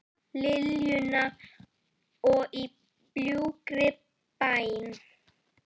Liljuna og Í bljúgri bæn.